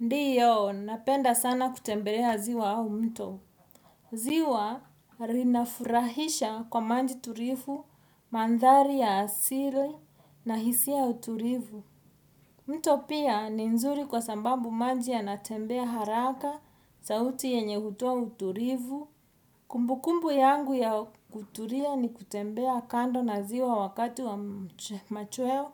Ndiyo, napenda sana kutembelea ziwa au mto. Ziwa linafurahisha kwa manji turifu, mandhari ya asili na hisia uturifu. Mto pia ni nzuri kwa sambambu manji ya natembea haraka, sauti yenye hutoa uturifu. Kumbukumbu yangu ya kuturia ni kutembea kando na ziwa wakati wa machweo.